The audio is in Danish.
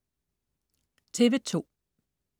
TV2: